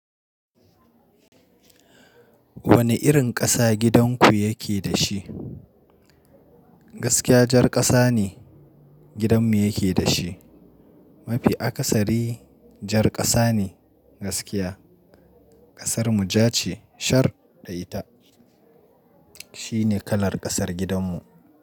Wane irin ƙasa gidanku yake da shi? Gaskiya jar ƙasa ne gidanmu yake da shi. Mafi akasari jar ƙasa ne gaskiya. Ƙasar muja ce shar da ita. Shi ne kalar ƙasar gidanmu.